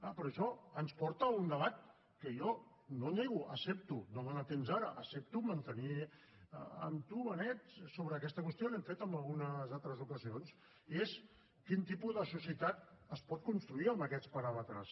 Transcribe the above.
ah però això ens porta a un debat que jo no nego accepto no dona temps ara mantenir amb tu benet sobre aquesta qüestió l’hem fet en algunes altres ocasions i és quin tipus de societat es pot construir amb aquests paràmetres